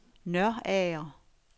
Nørager